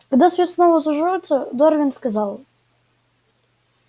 когда свет снова зажёгся дорвин сказал